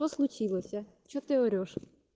что случилось что ты орешь